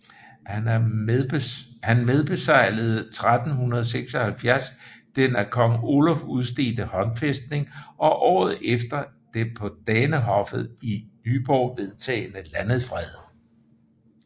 Han medbeseglede 1376 den af kong Oluf udstedte håndfæstning og året efter den på Danehoffet i Nyborg vedtagne landefred